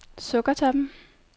Sukkertoppen